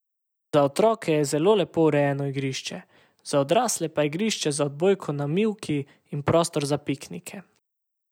Za otroke je zelo lepo urejeno igrišče, za odrasle pa igrišče za odbojko na mivki in prostor za piknike.